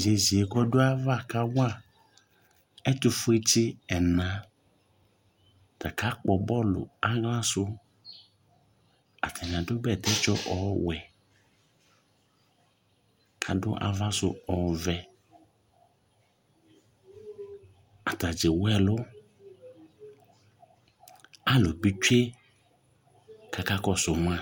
yeye k'ɔdu ava ka wa ɛtufue tsi ɛna t'aka kpɔ bɔlu ala su atani adu bɛtɛ tsɔ ɔwɛ k'adu ava su ɔvɛ atadza ewu ɛlu alò bi tsue k'aka kɔsu ma